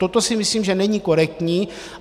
Toto si myslím, že není korektní.